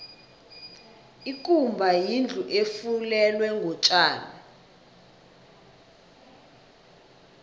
ikumba yindlu efulelwe ngotjani